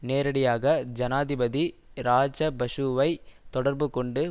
நேரடியாக ஜனாதிபதி இராஜபஷுவை தொடர்புகொண்டு